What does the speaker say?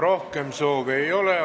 Rohkem soove ei ole.